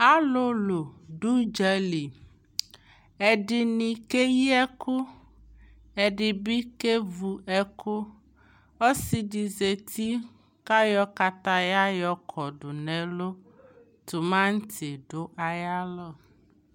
alolo do udzali ɛdini keyi ɛko ɛdi bi kevu ɛko ɔsi di zati ko ayɔ kataya yɔ kɔdo no ɛlo tomati do ayo alɔ